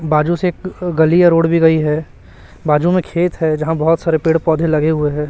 बाजू से एक गली या रोड भी गई है बाजू में खेत है जहां बहोत सारे पेड़ पौधे लगे हुए हैं।